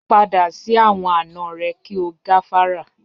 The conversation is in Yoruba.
Pada si awọn ana rẹ ki o gafara.